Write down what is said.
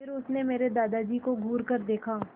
फिर उसने मेरे दादाजी को घूरकर देखा